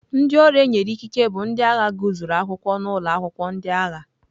Ndị ọrụ e nyere ikike bụ ndị agha gụsịrị akwụkwọ n'ụlọ akwụkwọ ndị agha.